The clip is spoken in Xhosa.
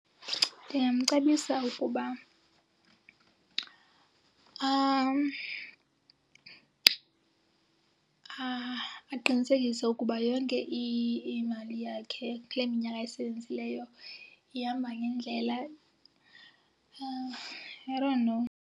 Ndingamcebisa ukuba aqinisekise ukuba yonke imali yakhe kule minyaka ayisebenzileyo ihamba ngendlela. I don't know.